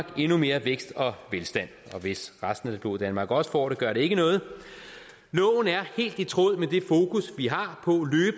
på endnu mere vækst og velstand og hvis resten af det blå danmark også får det gør det ikke noget loven er helt i tråd